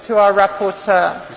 Frau Präsidentin!